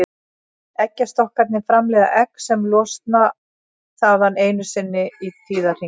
Eggjastokkarnir framleiða egg sem losna þaðan einu sinni í tíðahring.